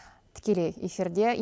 тікелей эфирде